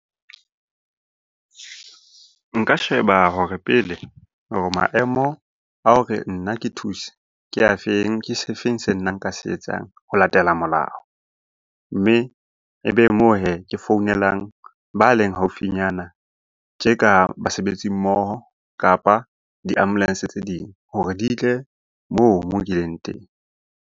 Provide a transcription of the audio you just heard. Nka sheba hore pele hore maemo a hore nna ke thuse ke a feng? Ke se feng se nna nka se etsang ho latela molao? Mme e be moo hee, ke founelang ba leng haufinyana tje ka basebetsi mmoho kapa di-ambulance tse ding hore di tle moo ke leng teng.